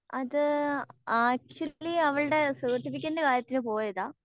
അത് ആക്ച്വലി അവൾടെ സർട്ടിഫിക്കറ്റിൻ്റെ കാര്യത്തിന്ന് പോയതാ